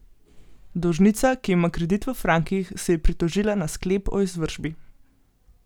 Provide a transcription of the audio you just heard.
Dolžnica, ki ima kredit v frankih, se je pritožila na sklep o izvršbi.